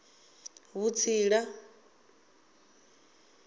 vhutsila